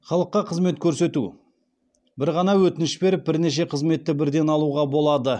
халыққа қызмет көрсету бір ғана өтініш беріп бірнеше қызметті бірден алуға болады